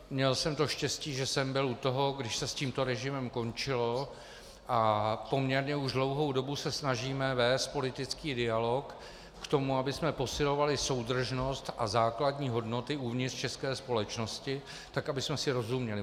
Měl jsem to štěstí, že jsem byl u toho, když se s tímto režimem končilo, a poměrně už dlouhou dobu se snažíme vést politický dialog k tomu, abychom posilovali soudržnost a základní hodnoty uvnitř české společnosti tak, abychom si rozuměli.